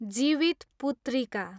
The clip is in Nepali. जीवितपुत्रीका